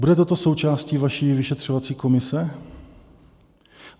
Bude toto součástí vaší vyšetřovací komise?